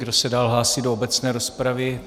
Kdo se dál hlásí do obecné rozpravy?